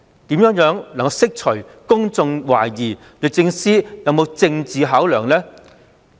試問政府如何釋除公眾對律政司有政治考量的疑慮呢？